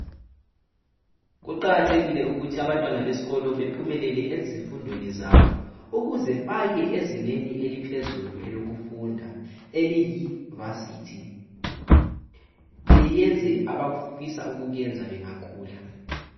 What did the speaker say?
Kuqakathekile ukuthi abantwana besikolo bephumele ezifundweni zabo ukuze baye ezingeni eliphezulu elokufunda eliyi"varsity" beyenze abafisa ukukuyenza bengakhula.